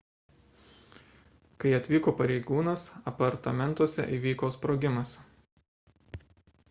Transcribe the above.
kai atvyko pareigūnas apartamentuose įvyko sprogimas